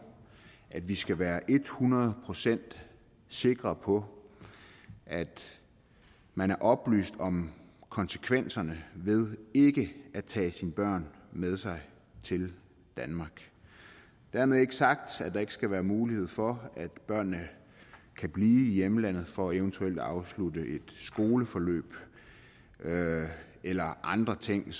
at vi skal være ethundrede procent sikre på at man er oplyst om konsekvenserne ved ikke at tage sine børn med sig til danmark dermed ikke sagt at der ikke skal være mulighed for at børnene kan blive i hjemlandet for eventuelt at afslutte et skoleforløb eller andre ting